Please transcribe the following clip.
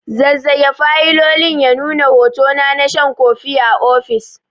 Zazzage fayilolin ya nuna hotona na shan kofi a ofis.